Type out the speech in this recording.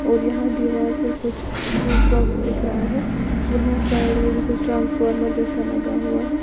और यहां दीवार पे कुछ स्विच बाॅक्स दिख रहा है यहां साइड में भी कुछ ट्रांसफार्मर जैसा लगा हुआ है।